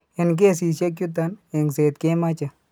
En kesiisyek chuton, engset kemoche.